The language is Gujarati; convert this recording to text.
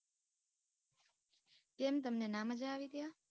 કેમ તમને ના મજા આવી ત્યાં?